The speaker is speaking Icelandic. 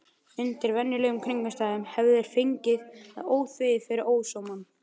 Undir venjulegum kringumstæðum hefðu þeir fengið það óþvegið fyrir ósómann.